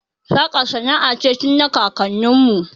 Saƙa sana'a ce tun na kakanni mu